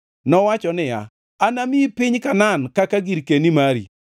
Nowacho niya, “Anamiyi piny Kanaan kaka girkeni mari.”